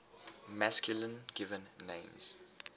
masculine given names